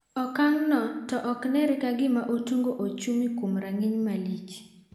Okang' no to okneere kagima otungo ochumi kuom rang'iny malich.